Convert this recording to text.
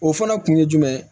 O fɔlɔ kun ye jumɛn ye